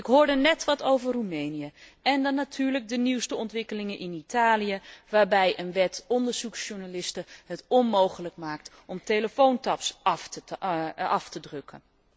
Ik hoorde net wat over Roemenië en dan natuurlijk de nieuwste ontwikkelingen in Italië waarbij een wet het onderzoeksjournalisten onmogelijk maakt om telefoontaps af te drukken.